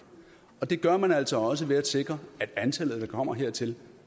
det gør man altså også ved at sikre at antallet der kommer hertil